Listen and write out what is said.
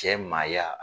Cɛ maaya